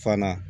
Fana